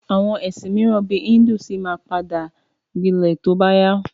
Àwọn ẹ̀sìn míràn bíi híndù ṣì ma padà gbilẹ̀ tí ó bá yá.